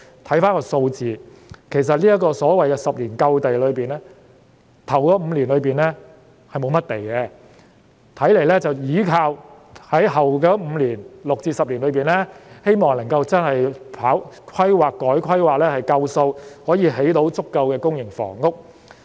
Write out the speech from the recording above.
看回數字，其實所謂未來10年有足夠土地一說，首5年是沒有甚麼土地供應的，看來是依靠其後5年透過規劃、改規劃來興建足夠的公營房屋。